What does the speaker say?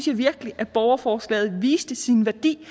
jeg virkelig at borgerforslaget viste sin værdi